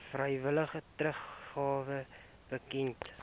vrywillige teruggawe bekend